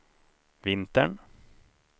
vintern